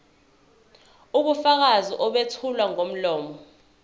ubufakazi obethulwa ngomlomo